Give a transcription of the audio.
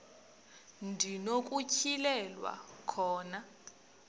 ndi nokutyhilelwa khona